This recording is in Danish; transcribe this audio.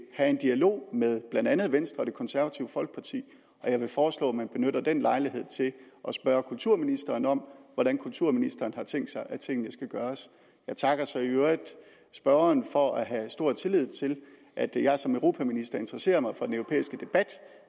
have en dialog med blandt andet venstre og det konservative folkeparti og jeg vil foreslå at man benytter den lejlighed til at spørge kulturministeren om hvordan kulturministeren har tænkt sig at tingene skal gøres jeg takker så i øvrigt spørgeren for at have stor tillid til at jeg som europaminister interesserer mig for den europæiske debat